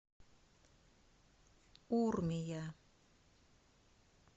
урмия